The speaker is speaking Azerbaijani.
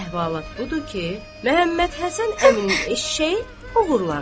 Əhvalat budur ki, Məhəmmədhəsən əminin eşşəyi oğurlanıb.